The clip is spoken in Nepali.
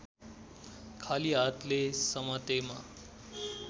खाली हातले समातेमा